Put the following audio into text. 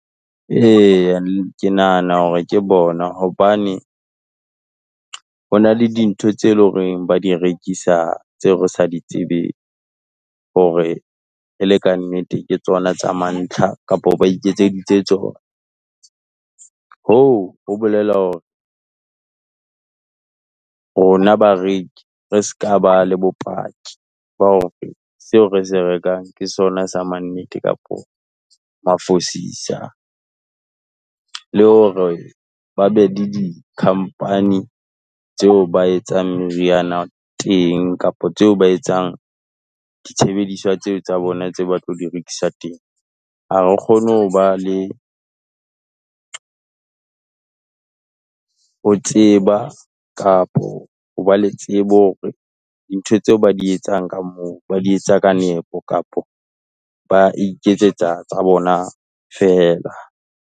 Eya ke nahana hore ke bona, hobane ho na le dintho tseo loreng ba di rekisa, tseo re sa di tsebeng, hore e le ka nnete ke tsona tsa mantlha, kapa ba iketseditse tsona . Hoo, ho bolela hore rona bareki re se ka ba le bopaki, ba hore seo rese rekang ke sona sa mannete kapa mafosisa, le hore ba be le di company tseo ba etsang meriana teng kapa tseo ba etsang ditshebediswa tseo tsa bona tse ba tlo direkisa teng. Ha re kgone ho ba le ho tseba, kapo ho ba le tsebe hore dintho tseo ba di etsang ka moo, ba di etsa ka nepo kapa ba iketsetsa tsa bona feela.